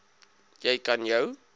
jy kan jou